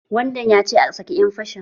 Wadan ya ce "A sake ƴan fashin"!